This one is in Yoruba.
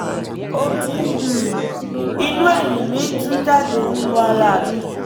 omi um inú ẹ̀yìn mi ń tú jáde nínú ara mi